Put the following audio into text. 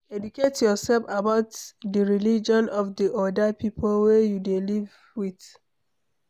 Educate yourself about di religion of di oda pipo wey you dey live with